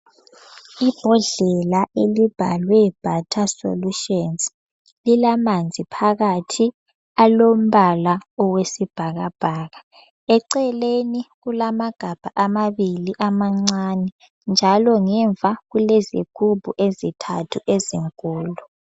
Ibhodlela elibhalwe Butter solutions lilamanzi phakathi alombala wesibhakabhaka. Eceleni kulamagabha amabili amancane. Njalo ngemva kulezigubhu ezintathu ezinkulu.